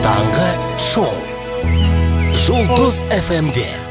таңғы шоу жұлдыз эф эм де